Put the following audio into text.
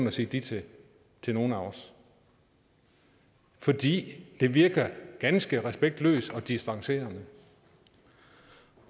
at sige de til til nogen af os fordi det virker ganske respektløst og distancerende